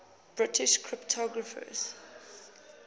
british cryptographers